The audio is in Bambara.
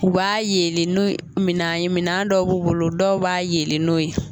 U b'a yeele nu minan ye minan dɔw b'u bolo dɔw b'a yeele n'o ye.